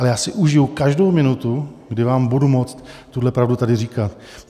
Ale já si užiju každou minutu, kdy vám budu moct tuhle pravdu tady říkat.